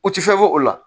U ti fɛn bɔ o la